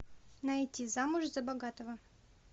найти замуж за богатого